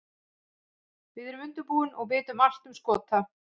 Við erum vel undirbúin og vitum allt um Skota.